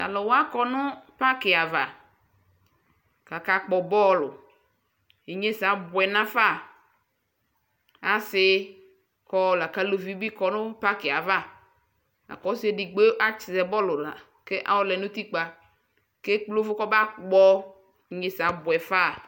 Tʋ alʋ wa kɔ nʋ pakɩ ava kʋ akakpɔ bɔlʋ Inyesɛ abʋɛ nafa Asɩ kɔ la kʋ aluvi bɩ kɔ nʋ pakɩ yɛ ava La kʋ ɔsɩ edigbo yɛ azɛ bɔlʋ la kʋ ayɔlɛ nʋ utikpǝ kʋ ekple ʋvʋ kɔmakpɔ Inyesɛ abʋɛ fa